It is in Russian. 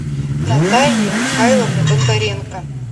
натальи михайловны бондаренко